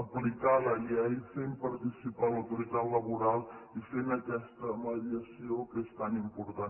aplicar la llei fent participar l’autoritat laboral i fent aquesta mediació que és tan important